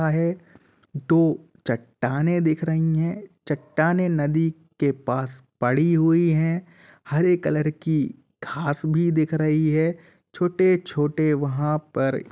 दो चट्टाने दिख रही है चट्टाने नदी के पास पड़ी हुई हैं। हरे कलर की घास भी दिख रही हैं। छोटे-छोटे वहाँ पर --